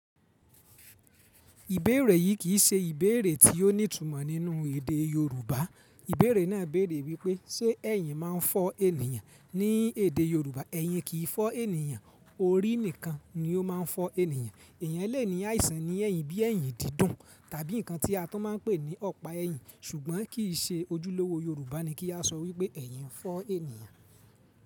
Ìbéèrè yìí kì í ṣe ìbéèrè tí ó ní ìtumọ̀ nínú èdè Yorùbá. Ìbéèrè náà béèrè wípé ṣe ẹ̀yìn máa ń fọ́ ènìyàn? Ní èdè Yorùbá, ẹ̀yìn kì í fọ́ ènìyàn, orí nìkan ni ó máa ń fọ́ ènìyàn. Èèyàn lè ní àìsàn ní ẹ̀yìn bí ẹ̀yìn dídùn tàbí nǹkan tí a tún máa ń pè ní ọpa ẹ̀yìn ṣùgbọ́n kì í ṣe ojúlówó Yorùbá ni kí a sọ wípé ẹ̀yìn fọ́ ènìyàn.